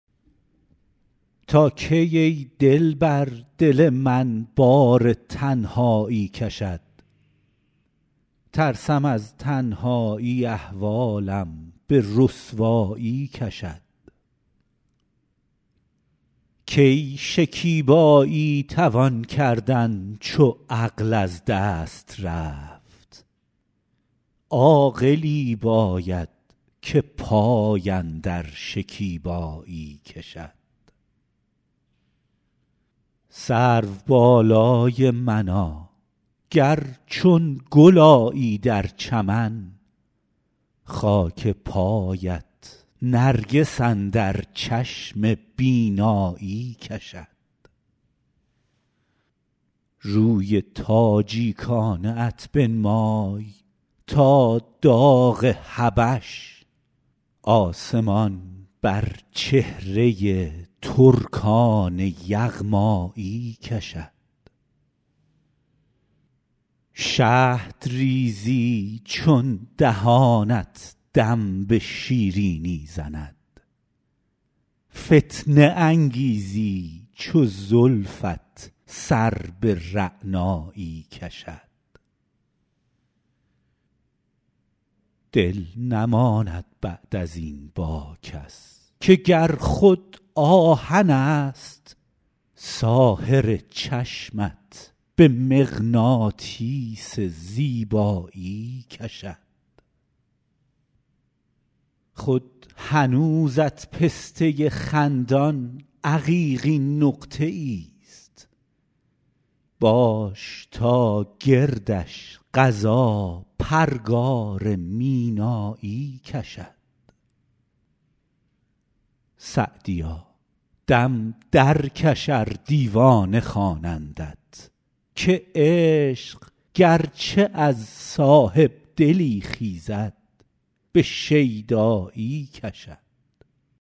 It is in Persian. تا کی ای دلبر دل من بار تنهایی کشد ترسم از تنهایی احوالم به رسوایی کشد کی شکیبایی توان کردن چو عقل از دست رفت عاقلی باید که پای اندر شکیبایی کشد سروبالای منا گر چون گل آیی در چمن خاک پایت نرگس اندر چشم بینایی کشد روی تاجیکانه ات بنمای تا داغ حبش آسمان بر چهره ترکان یغمایی کشد شهد ریزی چون دهانت دم به شیرینی زند فتنه انگیزی چو زلفت سر به رعنایی کشد دل نماند بعد از این با کس که گر خود آهنست ساحر چشمت به مغناطیس زیبایی کشد خود هنوزت پسته خندان عقیقین نقطه ایست باش تا گردش قضا پرگار مینایی کشد سعدیا دم درکش ار دیوانه خوانندت که عشق گرچه از صاحب دلی خیزد به شیدایی کشد